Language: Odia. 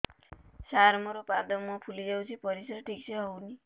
ସାର ମୋରୋ ପାଦ ମୁହଁ ଫୁଲିଯାଉଛି ପରିଶ୍ରା ଠିକ ସେ ହଉନି